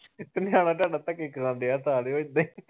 ਨਿਆਣਾ ਤੁਹਾਡਾ ਧੱਕੇ ਖਾਣ ਦਿਆ ਇਹਦੇ ਈ ।